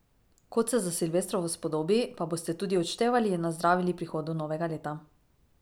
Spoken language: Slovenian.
Kot se za silvestrovo spodobi, pa boste tudi odštevali in nazdravili prihodu novega leta.